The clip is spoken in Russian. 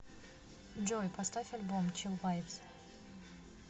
джой поставь альбом чил вайбс